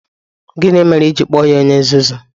Gịnị mere i ji kpọọ ya onye nzuzu?